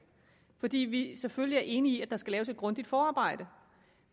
fordi vi selvfølgelig er enige i at der skal laves et grundigt forarbejde